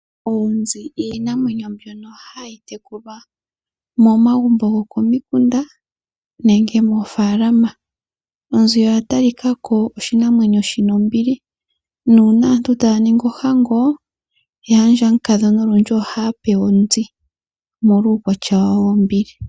Oonzi iinamwenyo mbyono hayi tekulwa momagumbo go komikunda nenge moofalama. Onzi oya talikako oshinamwenyo shina ombili, nuuna aantu taya ningi ohango, yaandja mukadhona olundji ohaya pewa onzi molwa uukwatya wayo wombili.